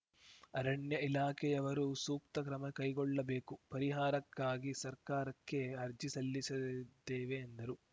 ಅರಣ್ಯ ಇಲಾಖೆಯವರು ಸೂಕ್ತ ಕ್ರಮ ಕೈಗೊಳ್ಳಬೇಕು ಪರಿಹಾರಕ್ಕಾಗಿ ಸರ್ಕಾರಕ್ಕೆ ಅರ್ಜಿ ಸಲ್ಲಿಸಿದ್ದೇವೆ ಎಂದರು